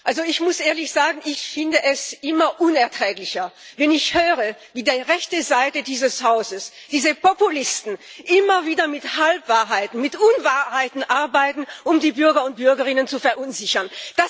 Herr Präsident! Ich muss ehrlich sagen, ich finde es immer unerträglicher, wenn ich höre, wie die rechte Seite dieses Hauses, diese Populisten, immer wieder mit Halbwahrheiten, mit Unwahrheiten arbeiten, um die Bürger und Bürgerinnen zu verunsichern.